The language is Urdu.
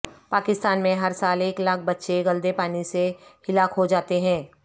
پاکستان میں ہر سال ایک لاکھ بچے گلدے پانی سے ہلاک ہو جاتے ہیں